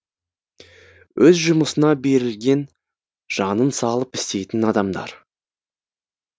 өз жұмысына берілген жанын салып істейтін адамдар